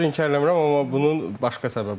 Heç bir inkar eləmirəm, amma bunun başqa səbəbləri var.